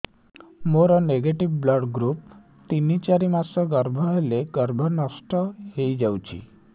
ମୋର negative blood group ତିନ ଚାରି ମାସ ଗର୍ଭ ହେଲେ ଗର୍ଭ ନଷ୍ଟ ହେଇଯାଉଛି